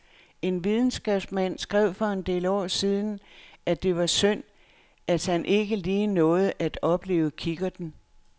En videnskabsmand skrev for en del år siden, at det var synd, han ikke lige nåede at opleve kikkerten.